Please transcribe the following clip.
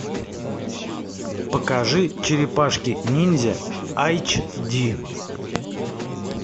покажи черепашки ниндзя айч ди